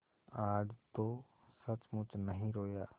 आज तो सचमुच नहीं रोया